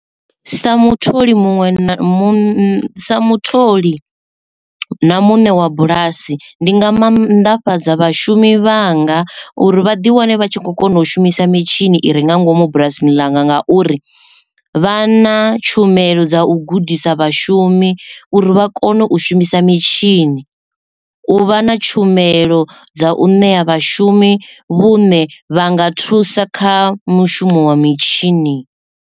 Sa mutholi muṅwe na muṅwe sa mutholi na muṋe wa bulasi ndi nga mannḓafhadza vhashumi vhanga uri vhaḓi wane vha tshi kho kona u shumisa mitshini i re nga ngomu bulasini langa ngauri vha na tshumelo dza u gudisa vhashumi uri vha kone u shumisa mitshini u vha na tshumelo dza u ṋea vhashumi vhuṋe vha nga thusa kha mushumo wa mitshini.